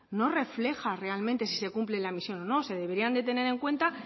no refleja si se cumple la misión o no se deberían de tener en cuenta